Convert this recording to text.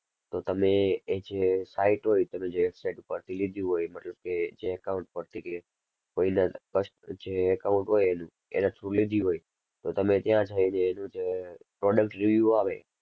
તો તમે એ જે site હોય તમે website ઉપરથી લીધી હોય મતલબ કે જે account પરથી કે કોઈના કસ~જે account હોય એનું એના through લીધી હોય તો તમે ત્યાં જઈને એનું જે product review આવે,